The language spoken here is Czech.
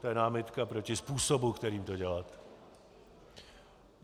To je námitka proti způsobu, kterým to děláte.